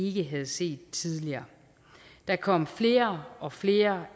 ikke havde set tidligere der kom flere og flere